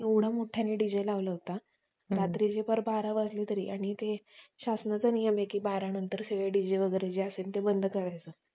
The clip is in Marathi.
म्हणून आपण हा होळीचा सण साजरा केला जातो. आणि हा आज इतके वर्षानुवर्षे आहे